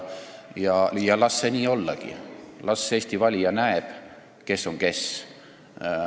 Las see ollagi nii – las Eesti valija näeb, kes on kes.